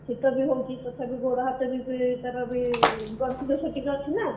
ଶୀତ ବି ହଉଛି ତଥାପି ଗୋଡ ହାତ ତାର ବି ଗଣ୍ଠି ଦୋଷ ଟିକେ ଅଛି ନା ।